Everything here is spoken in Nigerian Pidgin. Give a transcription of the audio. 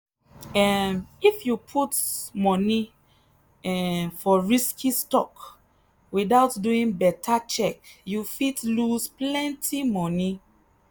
um if you put money um for risky stock without doing better check you fit lose plenty money.